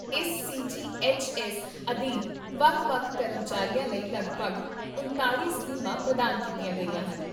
ਇਸ C G H S ਅਧੀਨ ਵੱਖ ਵੱਖ ਕਰਮਚਾਰੀਆਂ ਲਈ ਲਗਭਗ ਉਣਤਾਲ਼ੀ ਸਕੀਮਾਂ ਪ੍ਰਦਾਨ ਕੀਤੀਆਂ ਗਈਆਂ ਹਨ